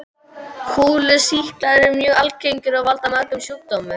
Kúlusýklar eru mjög algengir og valda mörgum sjúkdómum.